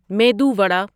medu vada